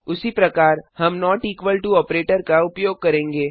उसी प्रकार हम नोट इक्वल टो ऑपरेटर का उपयोग करेंगे